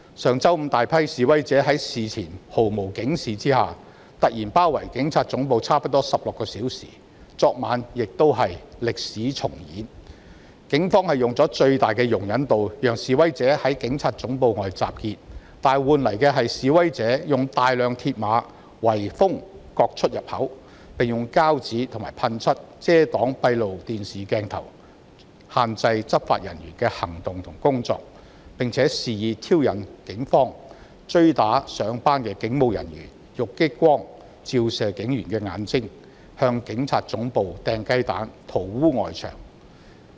上周五，大批示威者在事前毫無警示下突然包圍警察總部差不多16小時，而歷史亦在昨晚重演，警方以最大的容忍度讓示威者在警察總部外集結，卻換來示威者使用大量鐵馬圍封各出入口，並用膠紙及噴漆遮擋閉路電視攝影鏡頭，限制執法人員的行動和工作；又肆意挑釁警方，追打前往上班途中的警務人員並以激光照射他的眼睛，以及向警察總部投擲雞蛋及塗污外牆。